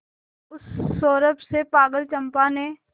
उस सौरभ से पागल चंपा ने